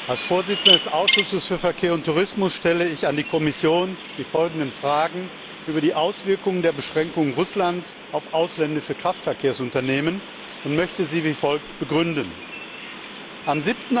Als Vorsitzender des Ausschusses für Verkehr und Tourismus stelle ich an die Kommission die folgenden Fragen über die Auswirkungen der Beschränkungen Russlands auf ausländische Kraftverkehrsunternehmen und möchte sie wie folgt begründen Am